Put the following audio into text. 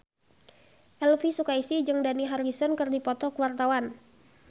Elvy Sukaesih jeung Dani Harrison keur dipoto ku wartawan